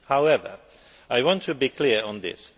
However, I want to be clear on this.